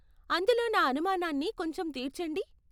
అందులో నా అనుమానాన్ని కొంచెం తీర్చండి.